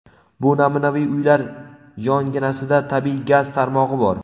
bu namunaviy uylar yonginasida tabiiy gaz tarmog‘i bor.